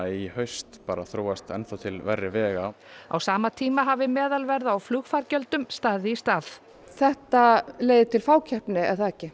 í haust þróast til verri vegar á sama tíma hafi meðalverð á flugfargjöldum staðið í stað þetta leiðir til fákeppni er það ekki